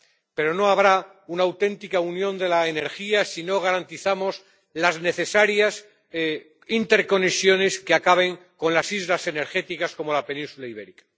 Pero no habrá una auténtica Unión de la Energía si no garantizamos las necesarias interconexiones que acaben con las islas energéticas, como la península Ibérica.